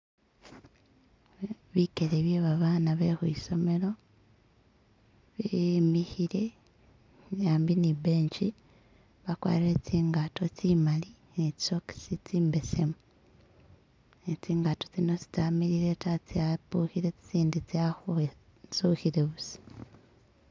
Bikeele byebabana be khwisomelo bemikhile ambi ne i'benchi bakwarire tsingato tsi mali ne tsi socks tsi mbesemu ne tsingato tsino si tsamilile ta tsapukhile tsitsindi tsa khwentsukhile busa.